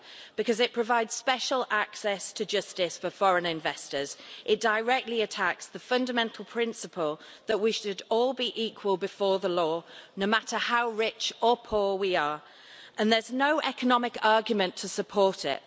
12. Because it provides special access to justice for foreign investors it directly attacks the fundamental principle that we should all be equal before the law, no matter how rich or poor we are, and there's no economic argument to support it.